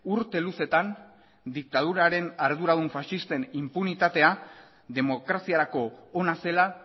urte luzetan diktaduraren arduradun faxisten inpunitatea demokraziarako ona zela